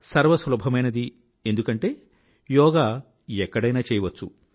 సర్వసులభమైనది ఎందుకంటే యోగా ఎక్కడైనా చేయవచ్చు